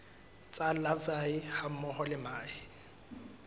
tsa larvae hammoho le mahe